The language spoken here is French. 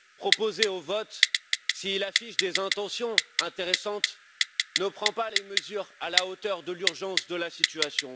proposé au vote ne prend pas les mesures à la hauteur de l'urgence de la situation.